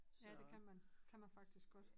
Ja det kan man kan man faktisk godt